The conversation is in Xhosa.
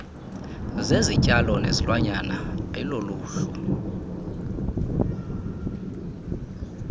zezityalo nezilwanyana ayiloluhlu